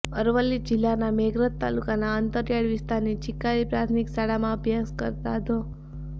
અરવલ્લી જીલ્લાના મેઘરજ તાલુકાના અંતરિયાળ વિસ્તારની છીકારી પ્રાથમિક શાળામાં અભ્યાસ કરતા ધો